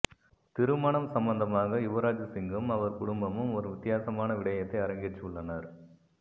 திருமணம் சம்மந்தமாக யுவராஜ் சிங்கும் அவர் குடும்பமும் ஒரு வித்தியாசமான விடயத்தை அரங்கேற்றியுள்ளனர்